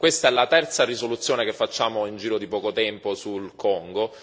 Questa la terza risoluzione che facciamo in giro di poco tempo sul Congo.